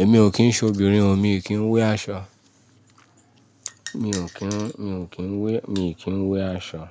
Èmi ò kín se obìnrin o, mi ò kín wé aṣọ. Mi ò kín, mi ò kín wé, mi ò kín wé aṣọ.